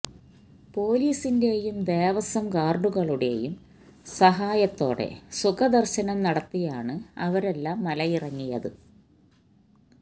പൊലീസിന്റെയും ദേവസ്വം ഗാർഡുകളുടെയും സഹായത്തോടെ സുഖദർശനം നടത്തിയാണ് അവരെല്ലാം മലയിറങ്ങിയത്